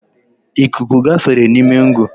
Ikuku gafere n’ime ngụ